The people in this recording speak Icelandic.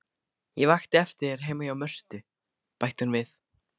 Ég vakti eftir þér heima hjá Mörtu, bætti hún við.